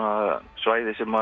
svæði sem